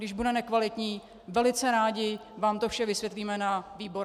Když bude nekvalitní, velice rádi vám to vše vysvětlíme na výborech.